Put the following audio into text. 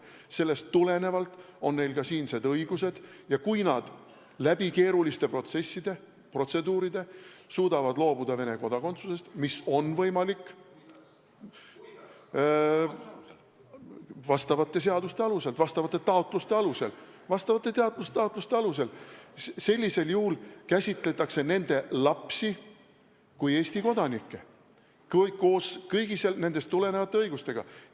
Sellest tulenevalt on neil ka siinsed õigused ja kui nad läbi keeruliste protsesside, protseduuride suudavad loobuda Venemaa kodakondsusest, mis on võimalik vastavate seaduste alusel, vastavate taotluste alusel, siis käsitletakse nende lapsi kui Eesti kodanikke koos kõigi sellest tulenevate õigustega.